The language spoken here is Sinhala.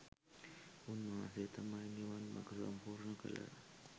උන්වහන්සේ තමයි නිවන් මඟ සම්පූර්ණ කළ